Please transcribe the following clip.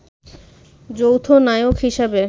যৌথ নায়ক হিসেবে